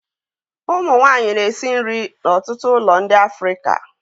Ụmụ nwanyị na-esi nri n'ọtụtụ ụlọ ndị Afrịka